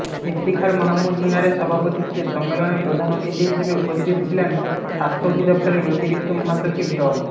ইফতিখার মাহমুদ মিনারের সভাপতিত্বে সম্মেলনে প্রধান অতিথি হিসেবে উপস্থিত ছিলেন স্বাস্থ্য অধিদপ্তরের অতিরিক্ত মহাসচিব ড